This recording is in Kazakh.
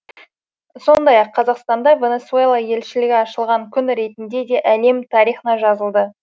сондай ақ қазақстанда венесуэла елшілігі ашылған күн ретінде де әлем тарихына жазылды